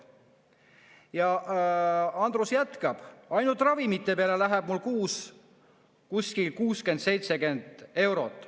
Ja Andrus jätkab: "Ainult ravimite peale läheb mul kuus kuskil 60-70 eurot.